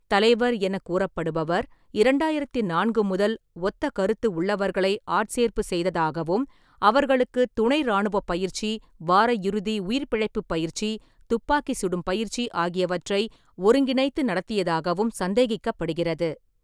தலைவர் எனக் கூறப்படுபவர் இரண்டாயிரத்து நான்கு முதல் ஒத்த கருத்து உள்ளவர்களை ஆட்சேர்ப்பு செய்ததாகவும், அவர்களுக்குத் துணைராணுவப் பயிற்சி, வாரயிறுதி உயிர்பிழைப்புப் பயிற்சி, துப்பாக்கி சுடும் பயிற்சி ஆகியவற்றை ஒருங்கிணைத்து நடத்தியதாகவும் சந்தேகிக்கப்படுகிறது.